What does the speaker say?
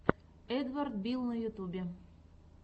эдвард билл на ютьюбе